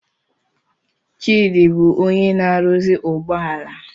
Chidi bụ onye na-arụzi ụgbọ ala